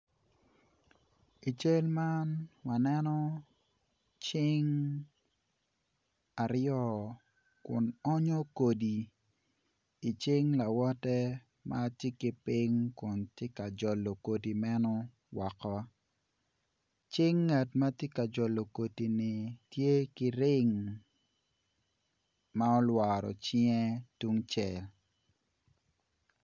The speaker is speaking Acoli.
I cal man waneno cing aryo kun onyo kodi icing lawote ma tye ki piny kun tye ka jolo kodi meno woko cing ngat ma tye ka jolo kodini tye ki ring ma olworo cinge tungcel.